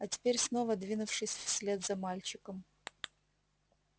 а теперь снова двинувшись вслед за мальчиком